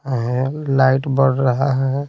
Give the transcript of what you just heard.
Light बर रहा है।